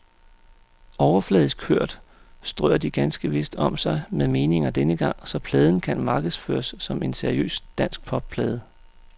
Overfladisk hørt strør de ganske vist om sig med meninger denne gang, så pladen kan markedsføres som en seriøs danskpopplade.